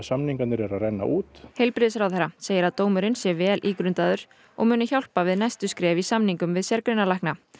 samningar eru að renna út heilbrigðisráðherra segir að dómurinn sé vel ígrundaður og muni hjálpa við næstu skref í samningum við sérgreinalækna